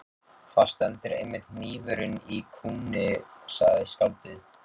Þar stendur einmitt hnífurinn í kúnni, sagði skáldið.